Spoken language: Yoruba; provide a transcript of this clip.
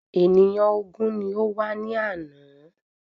Ènìyàn ògún ni ó wá ní àná.